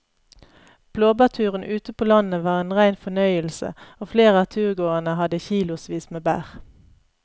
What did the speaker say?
Blåbærturen ute på landet var en rein fornøyelse og flere av turgåerene hadde kilosvis med bær.